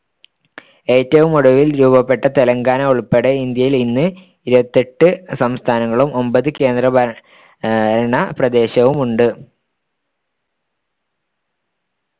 ഏറ്റവുമൊടുവിൽ രൂപപ്പെട്ട തെലങ്കാന ഉൾപ്പെടെ ഇന്ത്യയിൽ ഇന്ന് ഇരുപത്തിയെട്ട് സംസ്ഥാനങ്ങളും ഒമ്പത് കേന്ദ്രഭരണപ്രദേശവും ഉണ്ട്